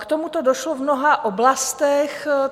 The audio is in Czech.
K tomuto došlo v mnoha oblastech.